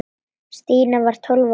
Stína var tólf ára.